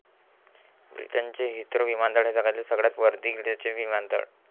ब्रिटनचे हिथ्रो विमानतळ हे जगातील सगळयात वर्दळीचे विमानतळ.